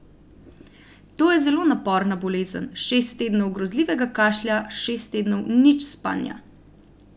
To je zelo naporna bolezen, šest tednov grozljivega kašlja, šest tednov nič spanja.